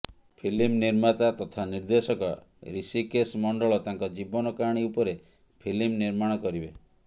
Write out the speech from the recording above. film ନିର୍ମାତା ତଥା ନିର୍ଦ୍ଦେଶକ ଋଷିକେଶ ମଣ୍ଡଳ ତାଙ୍କ ଜୀବନ କାହାଣୀ ଉପରେ ଫିଲ୍ମ ନିର୍ମାଣ କରିବେ